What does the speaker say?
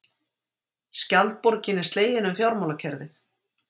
Skjaldborgin er slegin um fjármálakerfið